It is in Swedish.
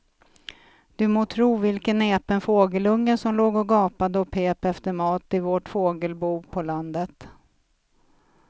Du må tro vilken näpen fågelunge som låg och gapade och pep efter mat i vårt fågelbo på landet.